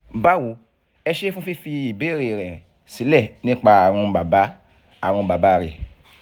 báwo ẹ ṣé fún fífi ìbéèrè rẹ̀ sílẹ̀ nípa àrùn bàbá àrùn bàbá rẹ